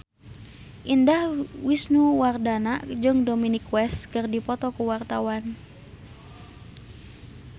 Indah Wisnuwardana jeung Dominic West keur dipoto ku wartawan